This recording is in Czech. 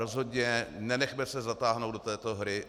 Rozhodně se nenechme zatáhnout do této hry.